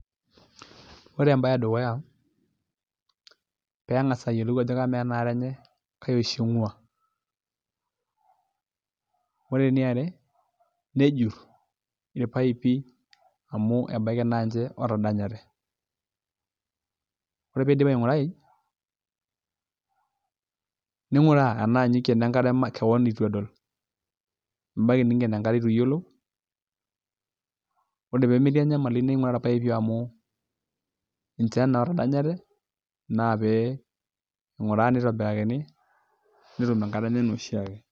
Ore embaye edukuya pee eng'as ayiolou ajo kamaa ena are enye kai oshi ing'uaa ore eniare nejurr irpaipi amu ebaiki naa ninche ootadanyate ore pee iidip aing'urai ning'uraa enaa ninye oikeno enkare makewon, ebaiki niinken enkare itu iyiolou ore pee metii enyamali ninguraa irpaipi amu ninche naa ootadanyate naa pee ing'uraa pee itobirakini naa pee etum enkare enye enaa oshi ake.